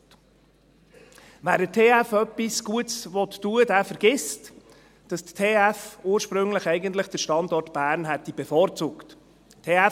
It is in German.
Wer der TF Bern etwas Gutes tun möchte, der vergisst, dass die TF Bern ursprünglich den Standort Bern bevorzugt hätte.